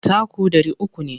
Taku ɗari uku ne.